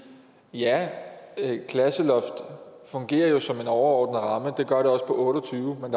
ja klasseloft fungerer jo som en overordnet ramme det gør det også på otte og tyve men